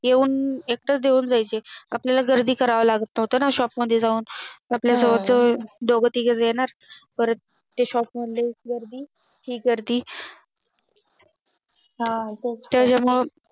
येऊन एकटं देऊन द्यायचे आपल्याला गर्दी करावं लागत नव्हतं ना Shop मध्ये जावून आपल्याला जवळ दोघे तिघे येणार परत ते Shop मधली हि गर्दी ती गर्दी हा तेच त्या मुळे